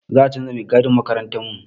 Za a canza mai gadin makarantarmu.